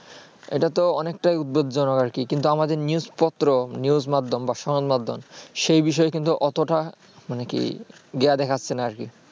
এটাতো অনেকটাই উত্তেজজনক আরকি কিন্তু আমাদের news পত্র news মাধ্যম বা সংবাদ মাধ্যম সে বিষয়ে কিন্তু অতটা মানে কি ইয়ে দেখাচ্ছেন আর কি